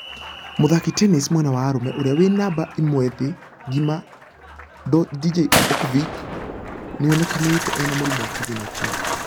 Mũthaki tennis mwena wa arũme ũrĩa wĩ namba ĩmwethĩ ngima Djokovic nĩaonĩkanĩte ĩna mũrimũ wa covid-19.